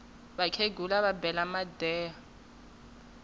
vakhegula va bela madeha